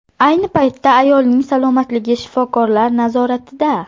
Ayni paytda ayolning salomatligi shifokorlar nazoratida.